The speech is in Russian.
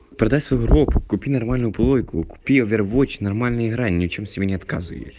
продать свою группу купить нормальную колонку купить овертвав нормальная игра ни в чем себе не